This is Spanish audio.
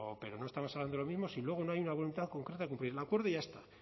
pero no estamos hablando de lo mismo si luego no hay una voluntad concreta de cumplir el acuerdo y ya está